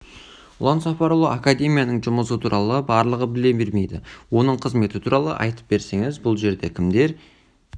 ұлан сапарұлы академияның жұмысы туралы барлығы біле бермейді оның қызметі туралы айтып берсеңіз бұл жерде кімдер